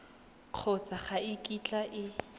kgotsa ga e kitla e